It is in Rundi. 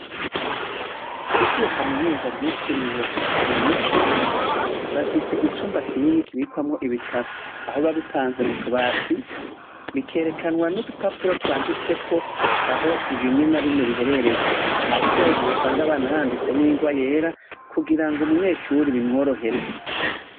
Ishure Kaminuza ryitiriwe umuco bafise icumba kinini kibikwamwo ibitabo aho babipanze mutubati bikerekanwa n'udupapuro twamditseko aho bimwe na bimwe biherereye hasi hari nigihe usanga banahaditse n'ingwa yera kugira umunyeshure bimworohere.